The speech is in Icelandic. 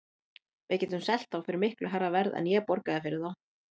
Við getum selt þá fyrir miklu hærra verð en ég borgaði fyrir þá.